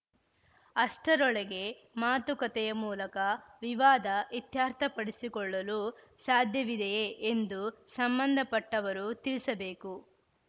ಅಷ್ಟರೊಳಗೆ ಮಾತಕತೆಯ ಮೂಲಕ ವಿವಾದ ಇತ್ಯರ್ಥಪಡಿಸಿಕೊಳ್ಳಲು ಸಾಧ್ಯವಿದೆಯೇ ಎಂದು ಸಂಬಂಧಪಟ್ಟವರು ತಿಳಿಸಬೇಕು